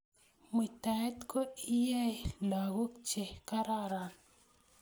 Muitaet ko iyei logoek che kararan